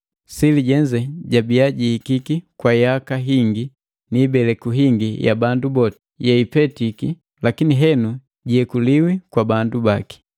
Sili jenze jabiya jihihiki kwa yaka hingi ni ibeleku hingi ya bandu boti yeipetiki lakini henu jiyekuliwi kwa bandu baki.